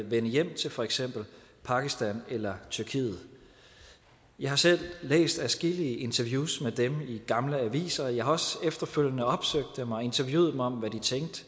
vende hjem til for eksempel pakistan eller tyrkiet jeg har selv læst adskillige interviews med dem i gamle aviser og jeg har også efterfølgende opsøgt dem og interviewet dem om hvad de